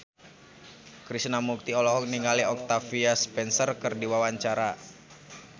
Krishna Mukti olohok ningali Octavia Spencer keur diwawancara